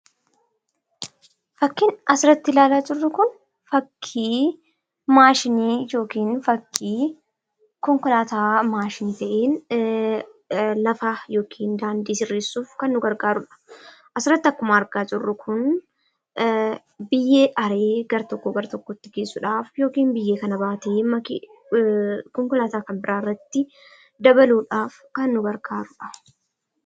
Fakkiin asirratti ilaalaa jirru kun, fakkii maashiini yookiin fakkii konkolasta maashiini ta'e, lafaa yookiin daandii sirreessuuf kan nu gargarudha. asumarratti akkuma argaa jirrutti biyyee aree gar-tokko gara gar-tokkotti geessuudhaf yookiin biyyee kana baatee konkolaata kan bira irratti dabaludhaf kan nu gargarudha.